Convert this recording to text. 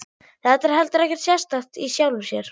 Þetta er heldur ekkert sérstakt í sjálfu sér.